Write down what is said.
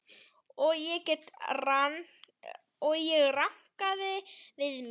Og ég rankaði við mér.